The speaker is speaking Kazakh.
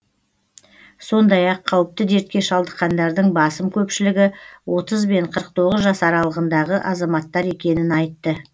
сондай ақ қауіпті дертке шалдыққандардың басым көпшілігі отыз бен қырық тоғыз жас аралығындағы азаматтар екенін айтты